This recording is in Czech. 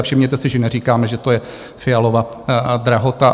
A všimněte si, že neříkáme, že to je Fialova drahota.